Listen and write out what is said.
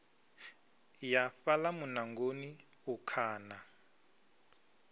ya fhaḽa muṋangoni u khaḓa